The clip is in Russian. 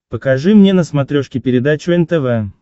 покажи мне на смотрешке передачу нтв